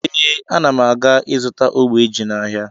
Ee, ana m aga izụta ogbe ji n'ahịa